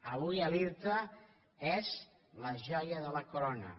avui l’irta és la joia de la corona